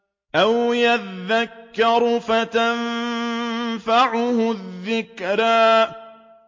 أَوْ يَذَّكَّرُ فَتَنفَعَهُ الذِّكْرَىٰ